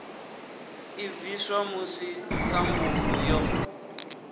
i bviswa musi sambulu yo